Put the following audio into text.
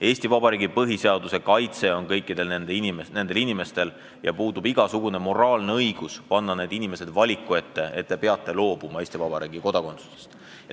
Eesti Vabariigi põhiseadus kaitseb kõiki neid inimesi ja puudub igasugune moraalne õigus panna nad valiku ette, kas loobuda Eesti kodakondsusest.